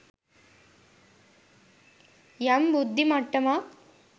යම් බුද්ධි මට්ටමක්